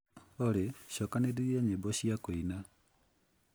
olly cokanĩrĩria nyimbo cia kuina